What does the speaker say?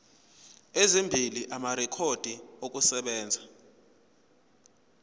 ezimbili amarekhodi okusebenza